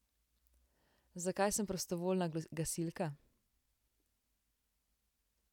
Zakaj sem prostovoljna gasilka?